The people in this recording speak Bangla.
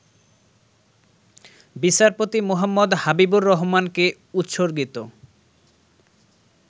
বিচারপতি মুহাম্মদ হাবিবুর রহমানকে উৎসর্গিত